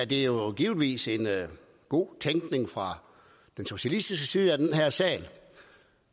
jo givetvis en god tænkning fra den socialistiske side af den her sal